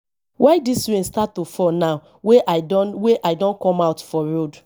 why dis rain start to fall now wey i don wey i don come out for road